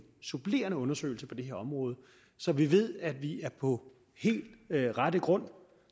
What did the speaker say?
supplerende undersøgelse på det her område så vi ved at vi er på rette grund